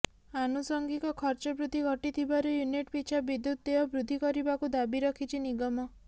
ଆନୁସଙ୍ଗିକ ଖର୍ଚ୍ଚ ବୃଦ୍ଧି ଘଟିଥିବାରୁ ୟୁନିଟ ପିଛା ବିଦ୍ୟୁତ ଦେୟ ବୃଦ୍ଧି କରିବାକୁ ଦାବି ରଖିଛି ନିଗମ